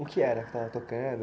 O que era que estava tocando?